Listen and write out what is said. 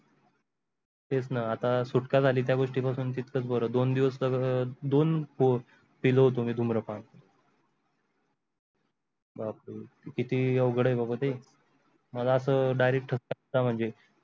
तेच न आता सुटका झाली त्या गोष्टी पासून तितकच बर दोन दिवस तर दोन पो पेलो होतो मी धुम्रपान बाप्रे किती अवघड आहे बाबा ते मग अस direct ठसा आलं म्हणजे.